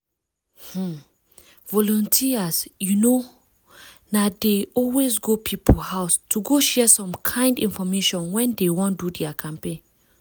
ah! volunteers you know na dey always go people house to go share some kind infomation when dey wan do their campaigns.